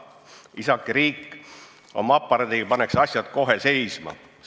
Riik oma aparaadiga paneks asjad kohe paika.